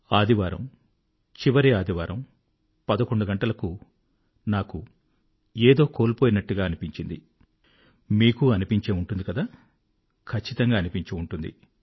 ఆదివారం చివరి ఆదివారం 11 గంటలకు నాకు ఏదో కోల్పోయినట్టుగా అనిపించిందిమీకూ అనిపించి ఉంటుంది కదా ఖచ్చితంగా అనిపించి ఉంటుంది